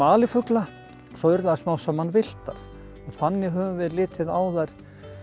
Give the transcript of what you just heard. alifugla svo urðu þær smám saman villtar og þannig höfum við litið á þær